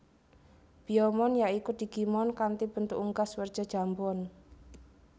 Biyomon ya iku digimon kanthi bentuk unggas werja jambon